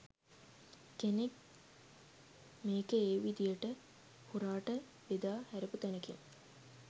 කෙනෙක් මේක ඒ විදිහට හොරාට බෙදා හැරපු තැනකින්